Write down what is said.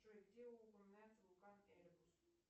джой где упоминается вулкан эльбрус